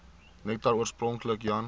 nektar oorspronklik jan